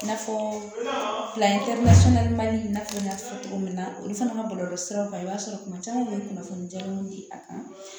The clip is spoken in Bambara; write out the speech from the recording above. I n'a fɔ fila n y'a fɔ cogo min na olu fana ka bɔlɔlɔsiraw kan i b'a sɔrɔ kuma caman u bɛ kunnafoni jaabi di a kan